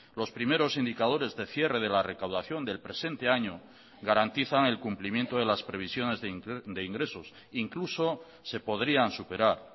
los primeros indicadores de cierre de la recaudación del presente año garantizan el cumplimiento de las previsiones de ingresos incluso se podrían superar